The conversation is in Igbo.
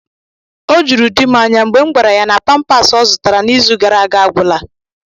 O juru di m anya mgbe m gwara ya na pampaasi ọ zụtara n'izu gara aga agwụla